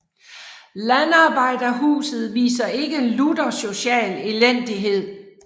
Landarbejderhuset viser ikke lutter social elendighed